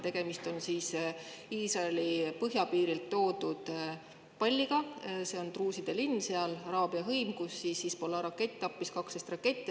Tegemist on Iisraeli põhjapiirilt toodud palliga, seal on druuside, araabia hõimu linn, kus Hezbollah' rakett tappis 12.